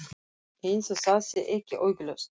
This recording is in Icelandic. Eins og það sé ekki augljóst.